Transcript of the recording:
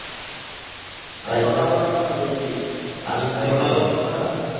এখন আবার আপনার ওই